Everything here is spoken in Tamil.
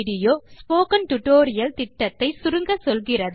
இது ஸ்போக்கன் டியூட்டோரியல் புரொஜெக்ட் ஐ சுருக்கமாக சொல்லுகிறது